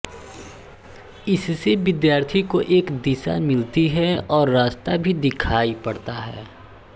इससे विद्यार्थी को एक दिशा मिलती है और रास्ता भी दिखाई पड़ता है